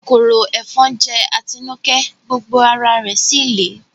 Kòkòrò ẹ̀fọn jẹ́ Atinúkẹ́, gbogbo ara rẹ̀ síì lé